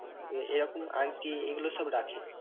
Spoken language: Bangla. এ~ এরকম আর কি এগুলো সব রাখে।